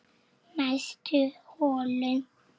Næstu holu